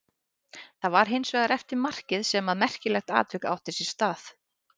Það var hins vegar eftir markið sem að merkilegt atvik átti sér stað.